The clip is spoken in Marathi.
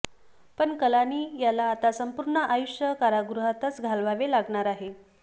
पण कलानी याला आता संपूर्ण आयुष्य कारागृहातच घालवावे लागणार आहे